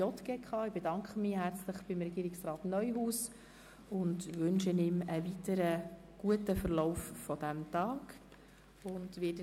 Ich bedanke mich herzlich bei Regierungsrat Neuhaus und wünsche ihm einen guten weiteren Verlauf des heutigen Tages.